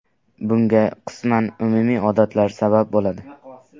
Bunga qisman umumiy odatlar sabab bo‘ladi.